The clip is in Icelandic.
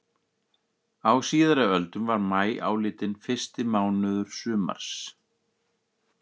Á síðari öldum var maí álitinn fyrsti mánuður sumars.